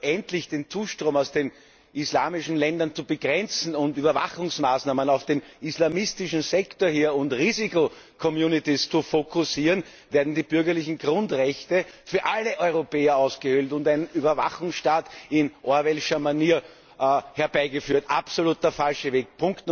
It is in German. Statt endlich den Zustrom aus den islamischen Ländern zu begrenzen und Überwachungsmaßnahmen auf den islamistischen Sektor hier und Risiko zu fokussieren, werden die bürgerlichen Grundrechte für alle Europäer ausgehöhlt und ein Überwachungsstaat in Orwellscher Manier herbeigeführt. Absolut der falsche Weg!